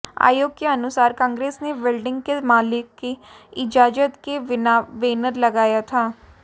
आयोग के अनुसार कांग्रेस ने बिल्डिंग के मालिक की इजाजत के बिना बैनर लगाया था